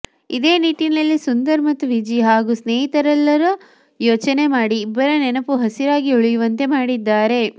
ಇದೇ ನಿಟ್ಟಿನಲ್ಲಿ ಸುಂದರ್ ಮತ್ತು ವಿಜಿ ಹಾಗೂ ಸ್ನೇಹಿತರೆಲ್ಲಾ ಯೋಚನೆ ಮಾಡಿ ಇಬ್ಬರ ನೆನಪು ಹಸಿರಾಗಿ ಉಳಿಯುವಂತೆ ಮಾಡಿದ್ದಾರೆ